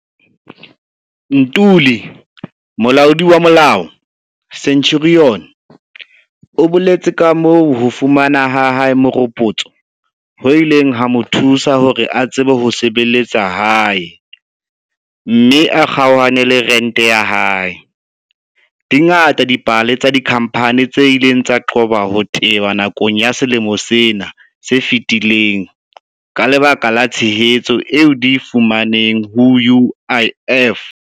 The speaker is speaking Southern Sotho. Ntuli, molaodi wa molao, Centurion, o boletse kamoo ho fumana ha hae meropotso ho ileng ha mo thusa hore a tsebe ho sebeletsa hae mme a kgonane le rente ya hae. Di ngata dipale tsa dikhampani tse ileng tsa qoba ho teba nakong ya selemo sena se fetileng ka lebaka la tshehetso eo di e fumaneng ho UIF.